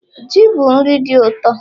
Ji bụ nri dị ụtọ